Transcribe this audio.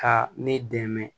Ka ne dɛmɛ